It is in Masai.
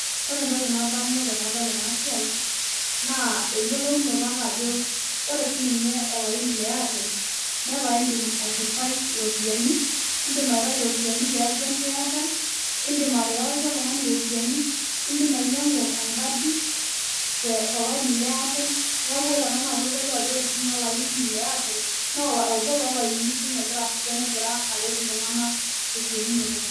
ore entoki nadamu tenadol ena siai naa eyiolounoto ajo re sii ninye olaini le airtel arewue mpisai nieasie enkae siai pookin oshi naas irkulikae neeku itodolu ina nchere keretisho sii ninye katukul